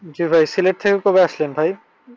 জি ভাই। সিলেট থেকে কবে আসছেন ভাই?